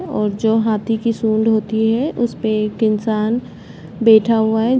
और जो हाथी की सूंड होती है उसपे एक इंसान बैठा हुआ है।